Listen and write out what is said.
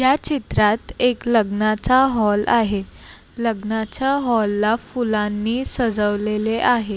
ह्या चित्रात एक लग्नाचा हॉल आहे लग्नाच्या हॉल ला फुलांनी सजवलेले आहे.